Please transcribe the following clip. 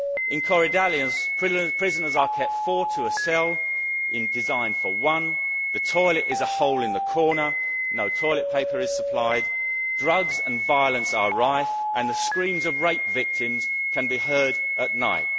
In Korydallos, prisoners are kept four to a cell designed for one, the toilet is a hole in the corner, no toilet paper is supplied, drugs and violence are rife and the screams of rape victims can be heard at night.